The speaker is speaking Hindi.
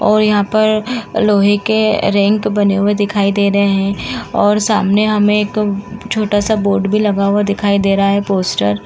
और यहां पर लोहे के रैंक बने हुए दिखाई दे रहे हैं और सामने में छोटा-सा बोर्ड भी लगा हुआ दिखाई दे रहा है पोस्टर --